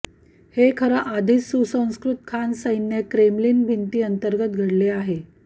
हे खरं आधीच सुसंस्कृत खान सैन्य क्रेमलिन भिंती अंतर्गत घडले आहे